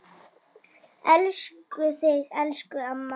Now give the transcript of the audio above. Elskum þig, elsku amma.